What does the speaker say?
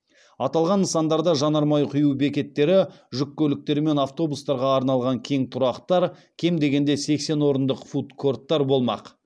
аталған нысандарда жанармай құю бекеттері жүк көліктері мен автобустарға арналған кең тұрақтар кем дегенде сексен орындық фуд корттар болмақ